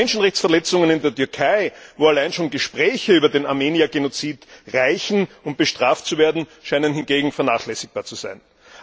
Die Menschenrechtsverletzungen in der Türkei, wo allein schon Gespräche über den Armenier Genozid reichen, um bestraft zu werden, scheinen hingegen vernachlässigbar zu sein.